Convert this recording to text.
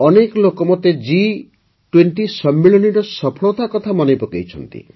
ଅନେକ ଲୋକ ମୋତେ ଜି୨୦ ସମ୍ମିଳନୀର ସଫଳତା କଥା ମନେପକାଇଛନ୍ତି